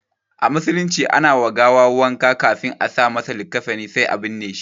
A musulunci ana wa gawa wanka ƙafin a sa masa likafani sai a binne.